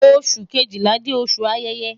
Oṣu kejila jẹ oṣu ayẹyẹ